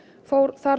fór